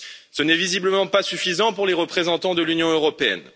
Ce n'est visiblement pas suffisant pour les représentants de l'Union européenne.